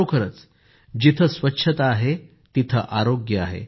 खरोखरीच जिथं स्वच्छता आहे तिथं आरोग्य आहे